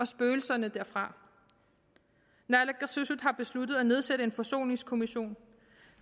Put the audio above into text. spøgelserne derfra naalakkersuisut har besluttet at nedsætte en forsoningskommission